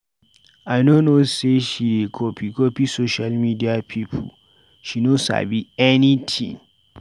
I no know sey she dey copy-copy social media pipu, she no sabi anytin